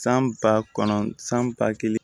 San ba kɔnɔn san ba kelen